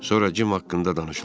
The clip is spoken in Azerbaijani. Sonra Jim haqqında danışılır.